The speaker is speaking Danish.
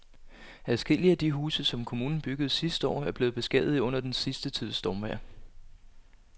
Adskillige af de huse, som kommunen byggede sidste år, er blevet beskadiget under den sidste tids stormvejr.